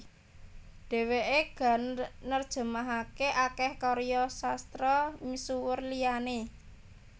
Dhèwèké ga nerjemahaké akèh karya sastra misuwur liyané